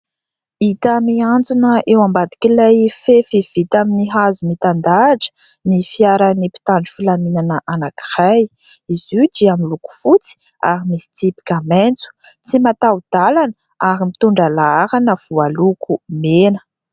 Hita mihanjona eo ambadik'ilay fefy vita amin'ny hazo mitandahatra ny fiaran'ny mpitandro filaminana anankiray, izy io miloko fotsy ary misy tsipika maitso, tsy mataho-dalana ary mitondra laharana voaloko mena.